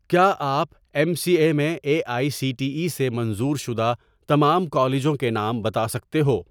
کیا آپ M C A میں A I C T E سے منظور شدہ تمام کالجوں کے نام بتا سکتے ہو